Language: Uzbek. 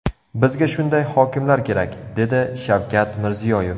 Bizga shunday hokimlar kerak”, dedi Shavkat Mirziyoyev.